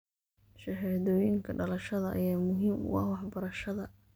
Shahaadooyinka dhalashada ayaa muhiim u ah waxbarashada.